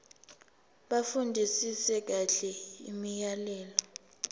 bafundisise kahle imiyalelo